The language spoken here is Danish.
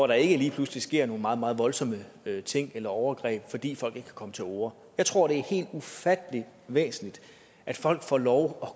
der ikke lige pludselig sker nogle meget meget voldsomme ting eller overgreb fordi folk ikke komme til orde jeg tror det er helt ufattelig væsentligt at folk får lov